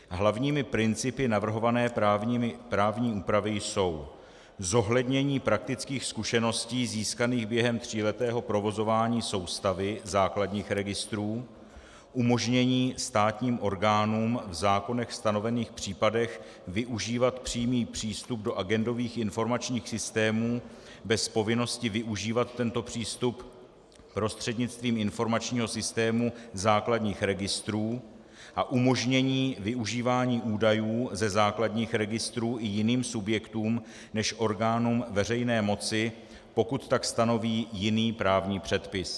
Hlavními principy navrhované právní úpravy jsou zohlednění praktických zkušeností získaných během tříletého provozování soustavy základních registrů, umožnění státním orgánům v zákonech stanovených případech využívat přímý přístup do agendových informačních systémů bez povinnosti využívat tento přístup prostřednictvím informačního systému základních registrů a umožnění využívání údajů ze základních registrů i jiným subjektům než orgánům veřejné moci, pokud tak stanoví jiný právní předpis.